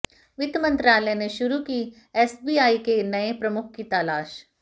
वित्त मंत्रालय ने शुरू की एसबीआई के नए प्रमुख की तलाश